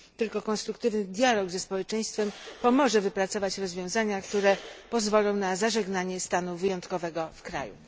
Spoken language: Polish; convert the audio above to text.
Tylko konstruktywny dialog ze społeczeństwem pomoże wypracować rozwiązania, które pozwolą na zażegnanie stanu wyjątkowego w kraju.